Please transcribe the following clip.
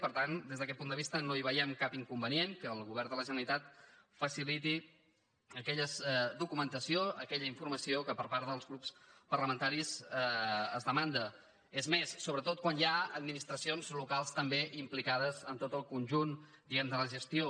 i per tant des d’aquest punt de vista no hi veiem cap inconvenient que el govern de la generalitat faciliti aquella documentació aquella informació que per part dels grups parlamentaris es demanda és més sobretot quan hi ha administracions locals també implicades en tot el conjunt diguem ne de la gestió